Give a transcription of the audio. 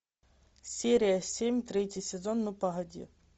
серия семь третий сезон ну погоди